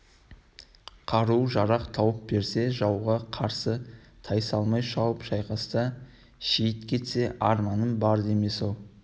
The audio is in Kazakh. қару-жарақ тауып берсе жауға қарсы тайсалмай шауып шайқаста шейіт кетсе арманым бар демес-ау